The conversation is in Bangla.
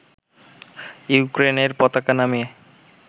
ইউক্রেইনের পতাকা নামিয়ে